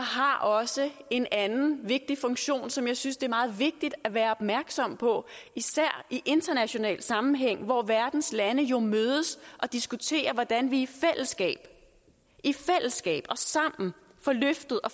har også en anden vigtig funktion som jeg synes det er meget vigtigt at være opmærksom på især i international sammenhæng hvor verdens lande jo mødes og diskuterer hvordan vi i fællesskab i fællesskab sammen får løftet og